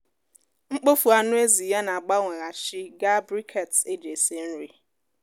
mkpofu anụ ezi ya na-agbanweghachi gaa briquettes eji esi nri.